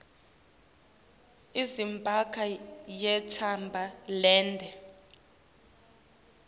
izambezi yintshaba lendze